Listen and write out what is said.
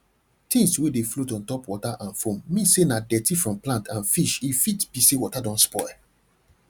things wey dey float on top water and foam mean say na dirty from plant and fish r fit be say water don spoil